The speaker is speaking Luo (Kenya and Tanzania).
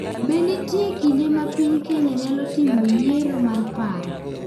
Be nitie kinde ma piny Kenya nyalo timoyiero mar paro?